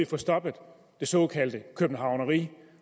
få stoppet det såkaldte københavneri